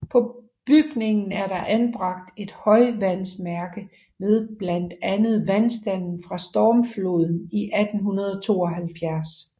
På bygningen er der anbragt et højvandsmærke med blandt andet vandstanden fra stormfloden i 1872